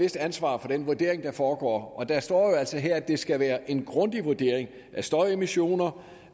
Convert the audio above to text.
vist ansvar for den vurdering der foregår og der står jo altså her at det skal være en grundig vurdering af støjemissioner